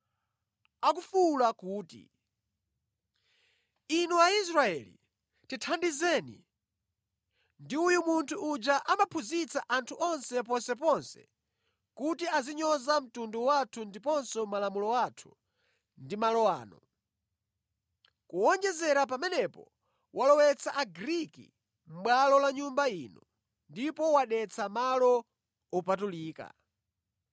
akufuwula kuti, “Inu Aisraeli, tithandizeni! Ndi uyu munthu uja amaphunzitsa anthu onse ponseponse kuti azinyoza mtundu wathu ndiponso Malamulo athu ndi malo ano. Kuwonjezera pamenepo, walowetsa Agriki mʼbwalo la Nyumba ino ndipo wadetsa malo opatulika.”